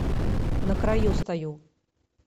на краю стою